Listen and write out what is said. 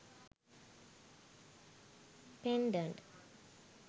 pendent